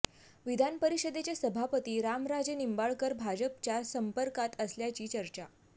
विधान परिषदेचे सभापती रामराजे निंबाळकर भाजपच्या संपर्कात असल्याची चर्च्या